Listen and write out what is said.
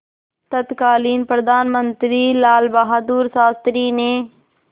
तत्कालीन प्रधानमंत्री लालबहादुर शास्त्री ने